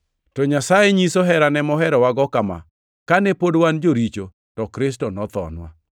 To Nyasaye nyiso herane moherowago kama: Kane pod wan joricho, to Kristo nothonwa.